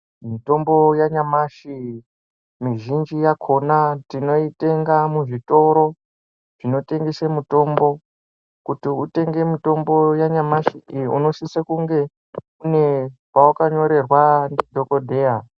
Mutombo yanyamashi mizhinji yakhona tinoitenga muzvitoro zvinotengese mitombo kuti utenge mitombo yanyamashi iyi unosise kunge une pawakanyorerwa ndidhokodheya.